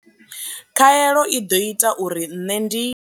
Khaelo i ḓo ita uri nṋe ndi.